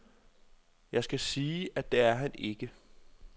Jeg skal sige, at det er han ikke.